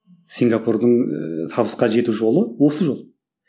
сингапурдың ыыы табысқа жету жол осы жол